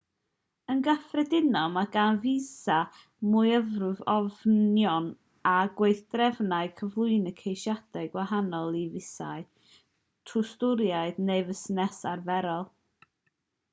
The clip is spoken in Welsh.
yn gyffredinol mae gan fisâu myfyrwyr ofynion a gweithdrefnau cyflwyno ceisiadau gwahanol i fisâu twristaidd neu fusnes arferol